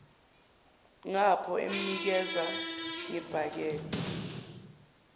ngapho emnikeza ngebhakede